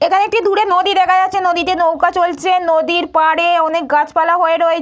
এখানে একটি দূরে নদী দেখা যাচ্ছে নদীতে নৌকা চলছে। নদীর পাড়ে অনেক গাছপালা হয়ে রয়ে --